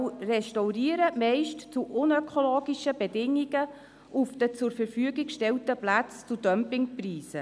Sie restaurieren, meist unter unökologischen Bedingungen, auf den zur Verfügung gestellten Plätzen zu Dumpingpreisen.